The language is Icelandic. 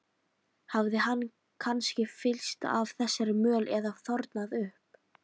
Hafði hann kannski fyllst af þessari möl eða þornað upp?